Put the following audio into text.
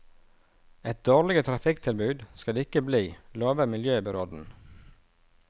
Et dårligere trafikktilbud skal det ikke bli, lover miljøbyråden.